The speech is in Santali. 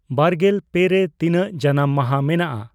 ᱵᱟᱨᱜᱮᱞ ᱯᱮ ᱨᱮ ᱛᱤᱱᱟᱹᱜ ᱡᱟᱱᱟᱢ ᱢᱟᱦᱟ ᱢᱮᱱᱟᱜᱼᱟ